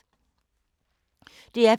DR P2